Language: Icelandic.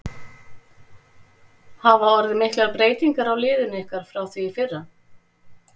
Hafa orðið miklar breytingar á liðinu ykkar frá því í fyrra?